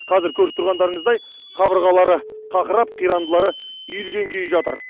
қазір көріп тұрғандарыңыздай қабырғалары қақырап қирандылары үйілген күйі жатыр